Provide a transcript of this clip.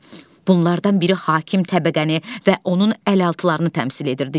Bunlardan biri hakim təbəqəni və onun əlaltılarını təmsil edirdi.